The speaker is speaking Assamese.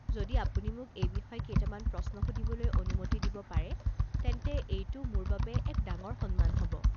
যদি আপুনি মোক এই বিষয়ে কেইটামান প্ৰশ্ন সুধিবলৈ অনুমতি দিব পাৰে তেন্তে এইটো মোৰ বাবে এক ডাঙৰ সন্মান হ'ব।